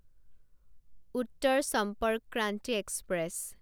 Uttar Sampark Kranti express